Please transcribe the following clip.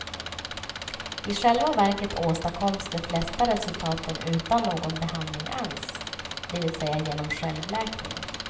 I själva verket åstadkoms de flesta resultaten utan någon behandling alls, dvs genom självläkning.